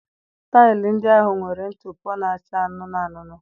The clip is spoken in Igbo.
Taịlị ndị ahụ nwere ntụpọ na-acha anụnụ anụnụ